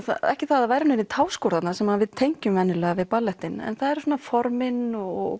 ekki það að verði táskor þarna sem við tengjum venjulega við ballettinn en það eru formin og